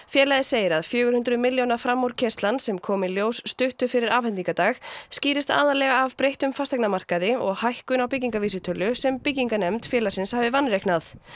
félagið segir að fjögur hundruð milljóna framúrkeyrslan sem kom í ljós stuttu fyrir afhendingardag skýrist aðallega af breyttum fasteignamarkaði og hækkun á byggingarvísitölu sem byggingarnefnd félagsins hafi vanreiknað